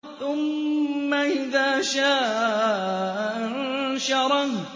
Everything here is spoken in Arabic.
ثُمَّ إِذَا شَاءَ أَنشَرَهُ